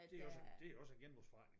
Det også det er også en genbrugsforretning